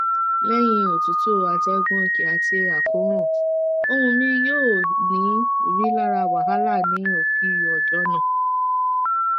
leyin otutu ategun oke ati akoran ohun mi yoo ni rilara wahala ni opii ojo naa